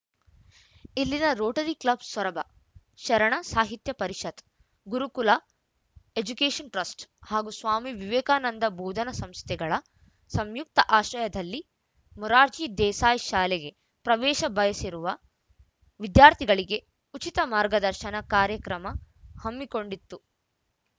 ಇಲ್ಲಿನ rotary club Soraba Sharana Sahitya Parishat Gurukula education trust ಹಾಗೂ ಸ್ವಾಮಿ ವಿವೇಕಾನಂದ ಬೋಧನಾ ಸಂಸ್ಥೆಗಳ ಸಂಯುಕ್ತ ಆಶ್ರಯದಲ್ಲಿ ಮೊರಾರ್ಜಿ ದೇಸಾಯಿ ಶಾಲೆಗೆ ಪ್ರವೇಶ ಬಯಸಿರುವ ವಿದ್ಯಾರ್ಥಿಗಳಿಗೆ ಉಚಿತ ಮಾರ್ಗದರ್ಶನ ಕಾರ್ಯಕ್ರಮ ಹಮ್ಮಿಕೊಂಡಿತ್ತು